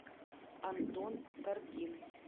антон коргин